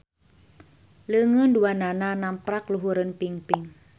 Leungeun duanana namprak luhureun pingping.